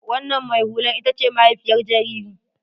Wannan mai hulan ita ce mahaifiyar jaririn.